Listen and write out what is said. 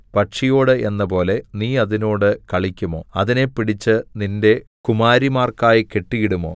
പക്ഷിയോട് എന്നപോലെ നീ അതിനോട് കളിക്കുമോ അതിനെ പിടിച്ച് നിന്റെ കുമാരിമാർക്കായി കെട്ടിയിടുമോ